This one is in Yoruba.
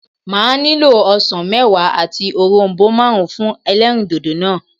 Màá nílò osàn méwàá àti òronbó máàrún fún elérìndòdò náà